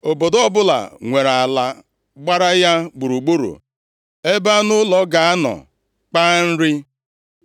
Obodo ọbụla nwere ala gbara ya gburugburu ebe anụ ụlọ ga-anọ kpaa nri.